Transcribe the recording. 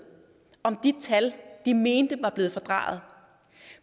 om de tal de mente var blevet fordrejet